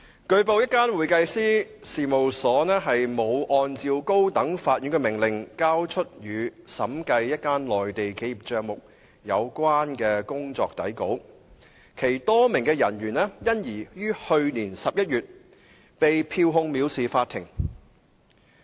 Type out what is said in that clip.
據報，一間會計師事務所沒有按高等法院的命令，交出與審計一間內地企業帳目有關的工作底稿，其多名人員因而於去年11月被票控藐視法庭。